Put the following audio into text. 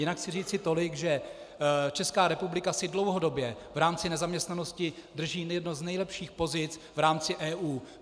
Jinak chci říci tolik, že Česká republika si dlouhodobě v rámci nezaměstnanosti drží jednu z nejlepších pozic v rámci EU.